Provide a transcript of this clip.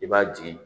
I b'a jigin